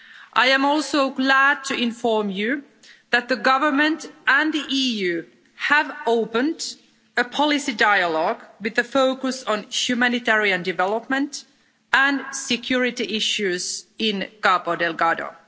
I am also glad to inform you that the government and the EU have opened a policy dialogue, with a focus on humanitarian development and security issues in Cabo Delgado.